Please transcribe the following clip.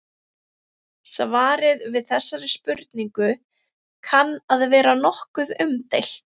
Svarið við þessari spurningu kann að vera nokkuð umdeilt.